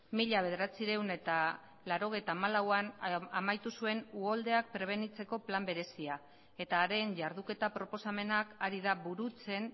mila bederatziehun eta laurogeita hamalauan bukatu zuen uholdeak prebenitzeko plan berezia eta haren jarduketa proposamenak ari da burutzen